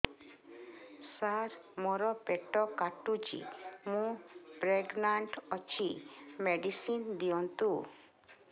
ସାର ମୋର ପେଟ କାଟୁଚି ମୁ ପ୍ରେଗନାଂଟ ଅଛି ମେଡିସିନ ଦିଅନ୍ତୁ